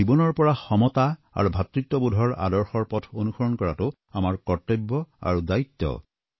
তেওঁৰ জীৱনৰ পৰা সমতা আৰু ভাতৃত্ববোধৰ আদৰ্শৰ পথ অনুসৰণ কৰাটো আমাৰ কৰ্তব্য আৰু দায়িত্ব